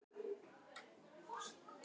Ég held að hann sé mjög almennilegur líka.